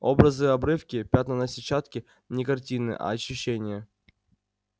образы-обрывки пятна на сетчатке не картины а ощущения